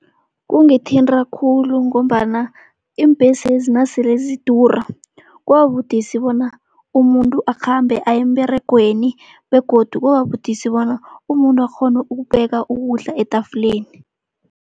Kungithinta khulu, ngombana iimbhesezi nasele zidura kuba budisi bona umuntu akhambe aye emberegweni begodu kuba budisi bona umuntu akghone ukubeka ukudla etafuleni.